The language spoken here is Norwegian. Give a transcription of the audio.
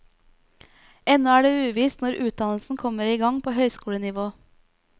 Ennå er det uvisst når utdannelsen kommer i gang på høyskolenivå.